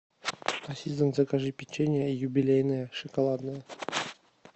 ассистент закажи печенье юбилейное шоколадное